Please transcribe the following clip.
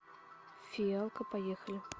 фиалка поехали